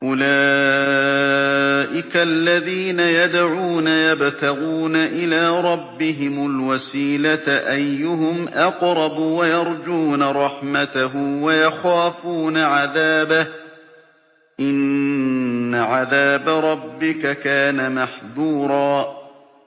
أُولَٰئِكَ الَّذِينَ يَدْعُونَ يَبْتَغُونَ إِلَىٰ رَبِّهِمُ الْوَسِيلَةَ أَيُّهُمْ أَقْرَبُ وَيَرْجُونَ رَحْمَتَهُ وَيَخَافُونَ عَذَابَهُ ۚ إِنَّ عَذَابَ رَبِّكَ كَانَ مَحْذُورًا